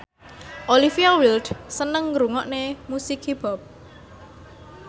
Olivia Wilde seneng ngrungokne musik hip hop